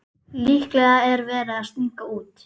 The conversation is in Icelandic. Líklega er verið að stinga út.